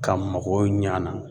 Ka makow ɲ'an na